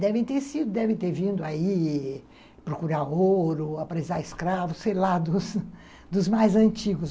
Devem ter sido, teve ter vindo aí procurar ouro, apresar escravos, sei lá, dos mais antigos.